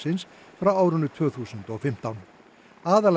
frá árinu tvö þúsund og fimmtán